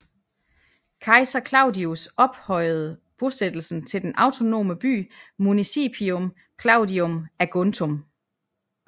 Kejser Claudius ophøjede bosættelsen til den autonome by Municipium Claudium Aguntum